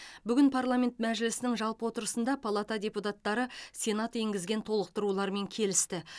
бүгін парламент мәжілісінің жалпы отырысында палата депутаттары сенат енгізген толықтырулармен келісті